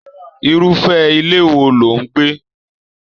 Irufẹ ilé wò ló n gbé?